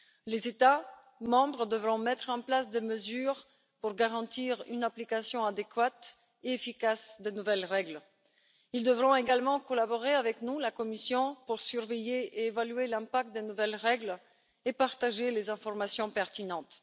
Les États membres devront mettre en place des mesures pour garantir une application adéquate et efficace des nouvelles règles. Ils devront également collaborer avec nous, la Commission, pour surveiller et évaluer l'impact des nouvelles règles et partager les informations pertinentes.